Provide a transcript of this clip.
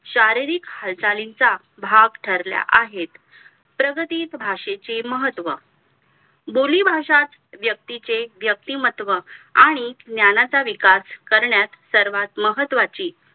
शारीरिक हालचालींचा भाग ठरल्या आहे प्रगतीत भाषेचे महत्व बोलीभाषा व्यक्तीचे व्यक्तिमत्व आणि ज्ञानाचा विकास करण्यास सर्वात महत्वाची